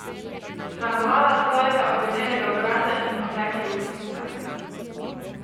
Sramovala svojega ovenelega obraza in otekle ustnice.